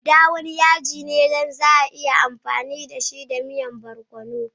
Uda wani yaji ne na asali wanda za'a iya amfani dashi don miya barkono.